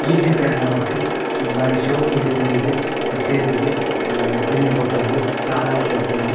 ಈ ಚಿತ್ರಡ್ ನಮಕ್ ಬಾರಿ ಶೋಕುಡೆ ಕುಲ್ಲುದು ಸ್ಟೇಜ್ ಡ್ ಆ ಚೆಂಡೆ ಬೊಟ್ಟೊಂದು ತಾಲ ಬೊಟ್ಟೊಂದು.